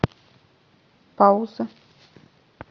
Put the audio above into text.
пауза